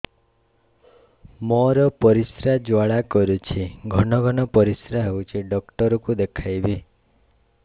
ମୋର ପରିଶ୍ରା ଜ୍ୱାଳା କରୁଛି ଘନ ଘନ ପରିଶ୍ରା ହେଉଛି ଡକ୍ଟର କୁ ଦେଖାଇବି